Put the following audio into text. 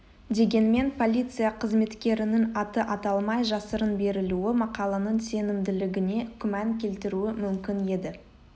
дегенмен полиция қызметкерінің аты аталмай жасырын берілуі мақаланың сенімділігіне күмән келтіруі мүмкін еді